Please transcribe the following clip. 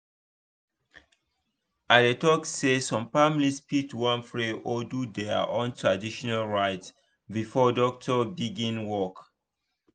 i dey talk say some families fit wan pray or do their own traditional rites before doctor begin work